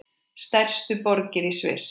Stærstu borgir í Sviss